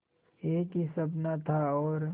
एक ही सपना था और